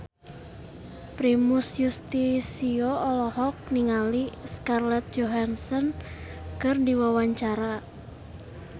Primus Yustisio olohok ningali Scarlett Johansson keur diwawancara